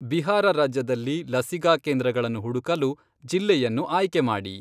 ಬಿಹಾರ ರಾಜ್ಯದಲ್ಲಿ ಲಸಿಕಾ ಕೇಂದ್ರಗಳನ್ನು ಹುಡುಕಲು ಜಿಲ್ಲೆಯನ್ನು ಆಯ್ಕೆ ಮಾಡಿ.